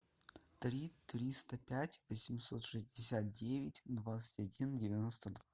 три триста пять восемьсот шестьдесят девять двадцать один девяносто два